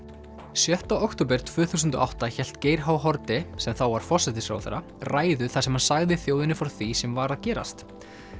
sjötta október tvö þúsund og átta hélt Geir h Haarde sem þá var forsætisráðherra ræðu þar sem hann sagði þjóðinni frá því sem var að gerast